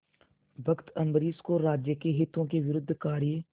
भक्त अम्बरीश को राज्य के हितों के विरुद्ध कार्य